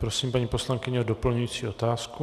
Prosím, paní poslankyně, o doplňující otázku.